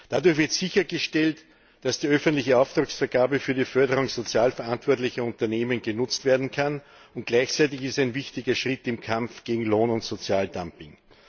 Dadurch wird sichergestellt, dass die öffentliche Auftragsvergabe für die Förderung sozial verantwortlicher Unternehmen genutzt werden kann, und gleichzeitig ist es ein wichtiger Schritt im Kampf gegen Lohn und Sozialdumping.